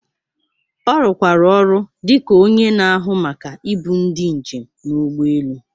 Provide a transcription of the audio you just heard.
Ọ rụkwara ọrụ dị ka onye na-ahụ maka ibu ndi njem n’ụgbọ elu.